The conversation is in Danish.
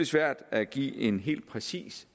svært at give en helt præcis